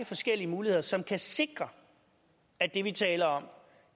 forskellige muligheder som kan sikre at det vi taler om